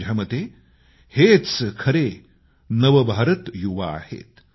माझ्या मते हेच खरे नव भारत युवा आहेत